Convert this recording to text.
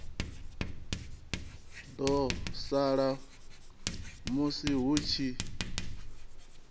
ḓo sala musi hu tshi